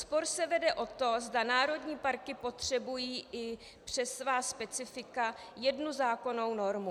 Spor se vede o to, zda národní parky potřebují i přes svá specifika jednu zákonnou normu.